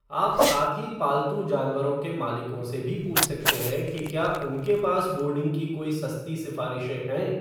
आप साथी पालतू जानवरों के मालिकों से भी पूछ सकते हैं कि क्या उनके पास बोर्डिंग की कोई सस्ती सिफारिशें हैं।